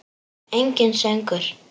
Enginn söngur.